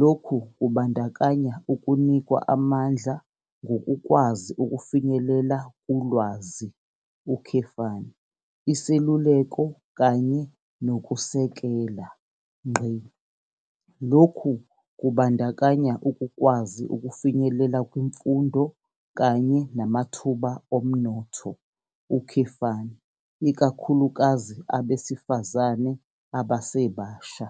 Lokhu kubandakanya ukunikwa amandla ngokukwazi ukufinyelela kulwazi, iseluleko kanye nokusekela. Lokhu kubandakanya ukukwazi ukufinyelela kwimfundo kanye namathuba omnotho, ikakhulukazi abesifazane abasebasha.